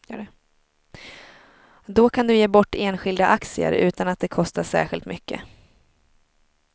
Då kan du ge bort enskilda aktier utan att det kostar särskilt mycket.